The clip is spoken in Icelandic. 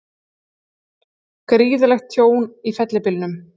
Gríðarlegt tjón í fellibylnum